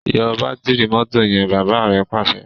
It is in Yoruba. yọ Bátìrì mọ́tò yen! bàbá rẹ Pàṣẹ.